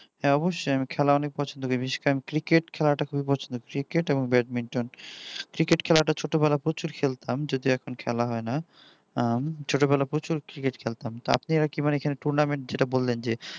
অবশ্যই আমি খেলা অনেক পছন্দ করি বিশেষ করে cricket খেলা টা খুবই পছন্দ cricket এবং badmintoncricket খেলাটা ছোটবেলায় প্রচুর খেলতাম যদি এখন আর খেলা হয় না ছোট বেলা প্রচুর cricket খেলতাম তাতেই একেবারে tournament যেটা বললেন যে